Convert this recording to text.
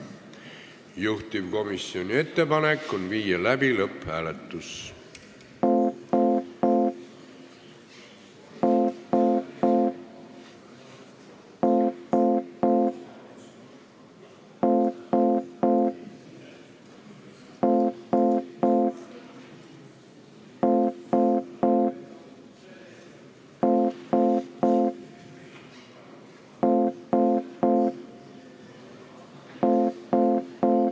Juhtivkomisjoni ettepanek on viia läbi lõpphääletus.